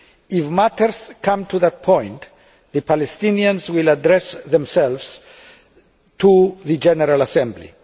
If matters come to that point the Palestinians will address themselves to the General Assembly.